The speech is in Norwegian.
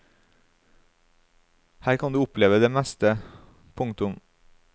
Her kan du oppleve det meste. punktum